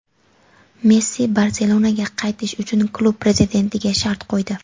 Messi "Barselona"ga qaytish uchun klub prezidentiga shart qo‘ydi;.